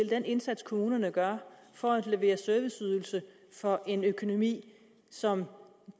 den indsats kommunerne gør for at levere serviceydelser for en økonomi som